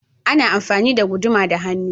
Ana amfani da guduma da hannu.